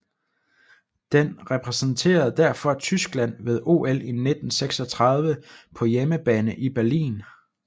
Den repræsenterede derfor Tyskland ved OL 1936 på hjemmebane i Berlin